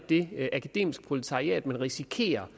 det akademiske proletariat man risikerer